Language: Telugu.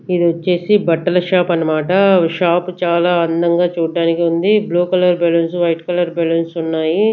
ఇది వచ్చేసి బట్టల షాప్ అన్నమాట షాప్ చాలా అందంగా చూడ్డానికి ఉంది blue colour balloons white colour balance ఉన్నాయి.